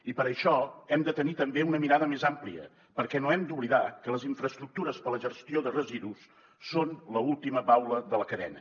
i per això hem de tenir també una mirada més àmplia perquè no hem d’oblidar que les infraestructures per a la gestió de residus són l’última baula de la cadena